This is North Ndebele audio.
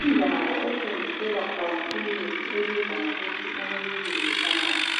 Indawo ethengiselwa khona imithi ebizwa ngokuthi uMubilizi Pharmacy,